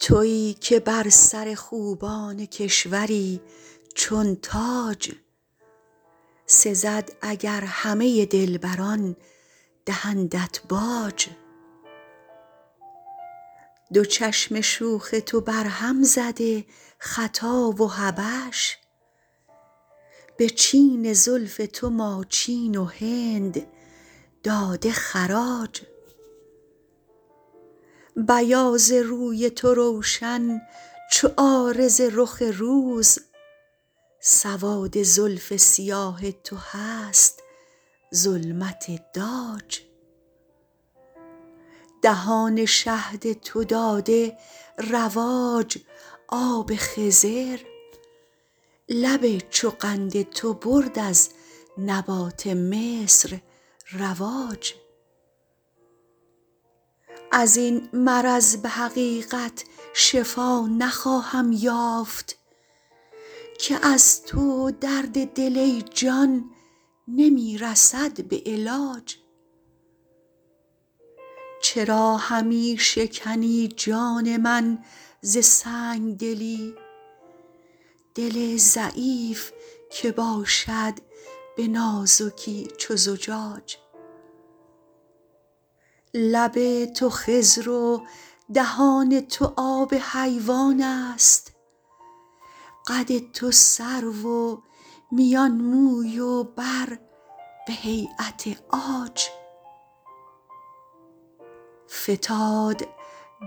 تویی که بر سر خوبان کشوری چون تاج سزد اگر همه دلبران دهندت باج دو چشم شوخ تو برهم زده خطا و حبش به چین زلف تو ماچین و هند داده خراج بیاض روی تو روشن چو عارض رخ روز سواد زلف سیاه تو هست ظلمت داج دهان شهد تو داده رواج آب خضر لب چو قند تو برد از نبات مصر رواج از این مرض به حقیقت شفا نخواهم یافت که از تو درد دل ای جان نمی رسد به علاج چرا همی شکنی جان من ز سنگ دلی دل ضعیف که باشد به نازکی چو زجاج لب تو خضر و دهان تو آب حیوان است قد تو سرو و میان موی و بر به هییت عاج فتاد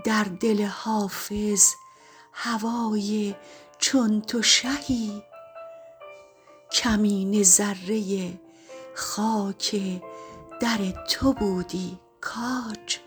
در دل حافظ هوای چون تو شهی کمینه ذره خاک در تو بودی کاج